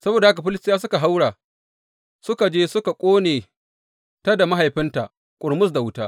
Saboda haka Filistiyawa suka haura suka je suka ƙone ta da mahaifinta ƙurmus da wuta.